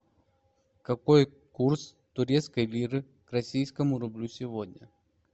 какой курс турецкой лиры к российскому рублю сегодня